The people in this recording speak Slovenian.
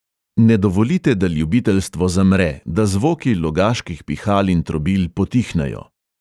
Ne dovolite, da ljubiteljstvo zamre, da zvoki logaških pihal in trobil potihnejo!